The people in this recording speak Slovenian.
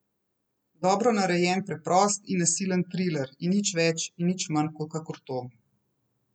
Dobro narejen preprost in nasilen triler in nič več in nič manj kakor to.